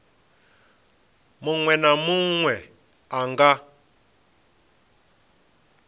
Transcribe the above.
munwe na munwe a nga